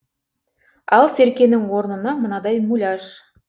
ал серкенің орнына мынадай муляж